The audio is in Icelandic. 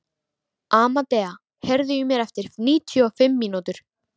Amadea, heyrðu í mér eftir níutíu og fimm mínútur.